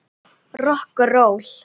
Rokk og ról!